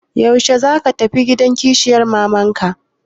Yaushe za ka tafi gidan kishiyar mama ka?